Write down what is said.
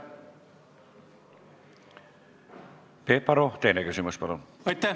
Peep Aru, teine küsimus, palun!